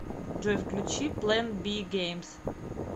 джой включи плэн би геймз